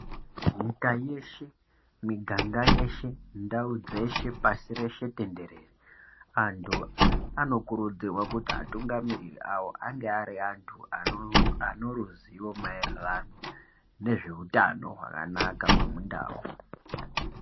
Nyika yeshe, miganga yeshe, ndau dzeshe, pashi reshe tenderere, antu anokurudzirwe kuti atungamiriri awo ange ari antu anoruziwo maererano nezveutano hwakanaka hwemundau.